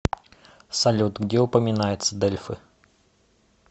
салют где упоминается дельфы